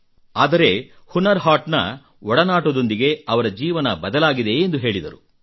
ಆದರೆ ಹುನರ್ ಹಾಟ್ ನ ಒಡನಾಟದೊಂದಿಗೆ ಅವರ ಜೀವನ ಬದಲಾಗಿದೆ ಎಂದು ಹೇಳಿದರು